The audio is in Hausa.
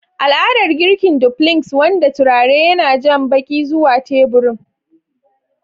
Al'adar girki dumplings, wanda turare yana jan baki zuwa teburin.